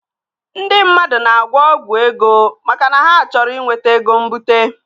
Ndị mmadụ na-agwọ ọgwụ ego maka na ha chọrọ inweta ego mbute